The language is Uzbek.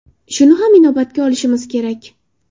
Shuni ham inobatga olishimiz kerak.